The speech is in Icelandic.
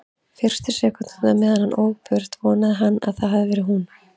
Fyrstu sekúndurnar meðan hann ók burt vonaði hann að það hefði verið hún.